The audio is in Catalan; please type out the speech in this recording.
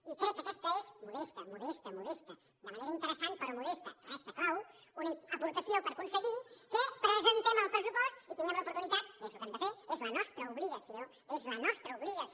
i crec que aquesta és mo·desta modesta modesta de manera interessant però modesta res de clau una aportació per aconseguir que presentem el pressupost i que tinguem l’oportu·nitat que és el que hem de fer és la nostra obligació és la nostra obligació